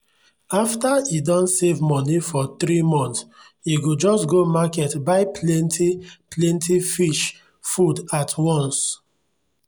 after e don save money for three months e go just go market buy plenty-plenty fish food at once.